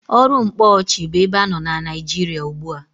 Ọrụ mkpóọchị bu ebe anọ na Nịajịrịa ugbua.